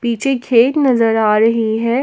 पीछे खेत नजर आ रही है।